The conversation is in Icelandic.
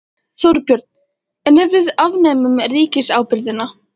Þorbjörn: En ef við afnemum ríkisábyrgðina?